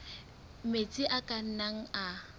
metsi a ka nnang a